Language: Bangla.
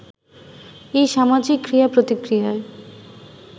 এই সামাজিক ক্রিয়া-প্রতিক্রিয়ায়